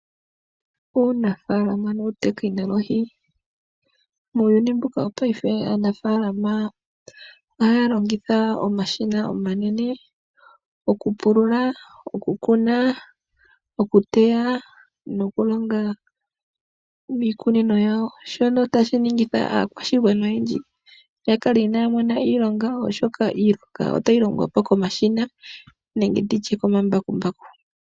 Uunafaalama nuutekinolohi. Mopaife aanafaalama ohaya longitha omashina omanene oku pulula, oku kuna, oku teya noku longa iikunino yawo shono tashi ningitha aakwashigwana oyendji ya kale inaaya mona iilonga oshoka iilonga otayi longwa po komashina nenge tutye komambakumbaku.